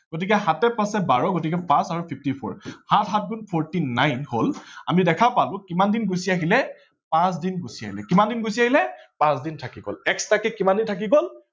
গতিকে সাতে পাচে বাৰ গতিকে পাচ আৰু fifty four সাত সাত গুন forty nine হল আমি দেখা পালো কিমান দিন গুচি আহিলে পাচ দিন গুচি আহিলে কিমান দিন গুচি আহিলে পাচ থাকি গল extra কে কিমান দিন থাকি গল